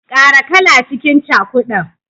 Kara kala cikin cakudan.